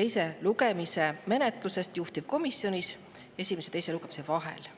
teise lugemise menetlusest juhtivkomisjonis esimese ja teise lugemise vahel.